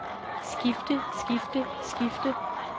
skifte skifte skifte